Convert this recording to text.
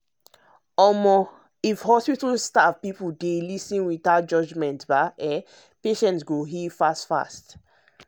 if hospital staff hear patients without judging e go make understanding better.